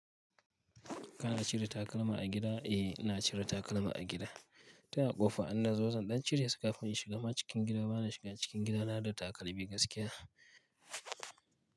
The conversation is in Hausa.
Kana cire takalma a gida? Eh, ina cire takalma a gida. Tun a ƙofa in nazo zan ɗan cire su kafin in shiga ma cikin gida bana shiga cikin gida na da takalmi gaskiya.